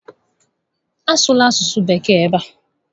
A sụla asụsụ Bekee n'ebe a!